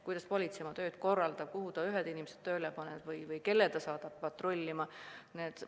Kuidas politsei oma tööd korraldab, kuhu ta inimesed tööle paneb, kelle saadab patrullima, on tema otsustada.